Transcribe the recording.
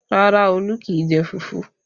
Rárá, Olu kì í jẹ fufu.